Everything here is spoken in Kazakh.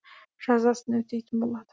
жазасын өтейтін болады